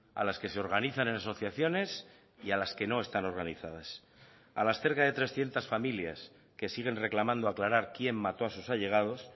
a las que se organizan en asociaciones y a las que no están organizadas a las cerca de trescientos familias que siguen reclamando aclarar quién mató a sus allegados